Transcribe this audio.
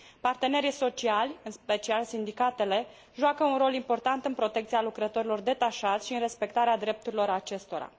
Partenerii sociali, în special sindicatele, joacă un rol important în protecția lucrătorilor detașați și în respectarea drepturilor acestora.